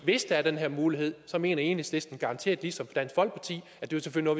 hvis der er den her mulighed mener enhedslisten garanteret ligesom dansk folkeparti at det selvfølgelig